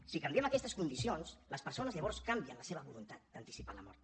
si canviem aquestes condicions les persones llavors canvien la seva voluntat d’anticipar la mort